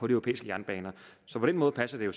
europæiske jernbaner så på den måde passer det jo